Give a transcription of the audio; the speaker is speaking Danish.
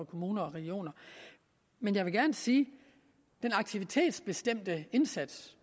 kommuner og regioner men jeg vil gerne sige den aktivitetsbestemte indsats